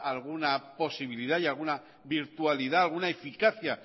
alguna posibilidad y alguna virtualidad alguna eficacia